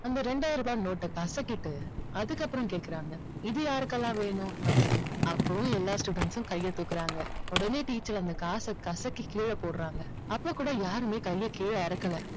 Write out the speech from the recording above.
இந்த ரெண்டாயிரம் ரூபாய் நோட்டை கசக்கிட்டு அதுக்கப்புறம் கேக்குறாங்க இது யாருக்கெல்லாம் வேணும் அப்படின்னு. அப்பவும் எல்லா students ம் கைய தூக்குறாங்க. உடனே teacher அந்த காசை கசக்கி கீழ போடுறாங்க. அப்போ கூட யாருமே கையை கீழ இறக்கலை.